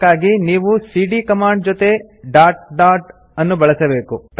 ಅದಕ್ಕಾಗಿ ನೀವು ಸಿಡಿಯ ಕಮಾಂಡ್ ಜೊತೆ ಡಾಟ್ ಡಾಟ್ ಅನ್ನು ಬಳಸಬೇಕು